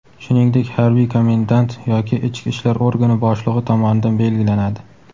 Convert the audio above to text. shuningdek harbiy komendant yoki ichki ishlar organi boshlig‘i tomonidan belgilanadi.